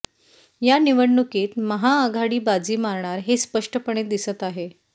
या निवडणुकीत महाआघाडी बाजी मारणार हे स्पष्टपणे दिसत आहे